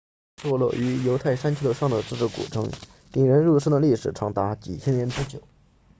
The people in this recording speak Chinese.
坐落于犹太山丘 judean hills 上的这座古城引人入胜的历史长达几千年之久